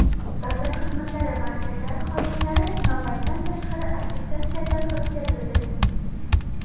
Davlat xizmatlari markazlari xodimlari navbatdan tashqari attestatsiyadan o‘tkazildi.